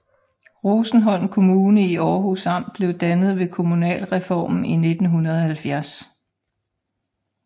Rosenholm Kommune i Århus Amt blev dannet ved kommunalreformen i 1970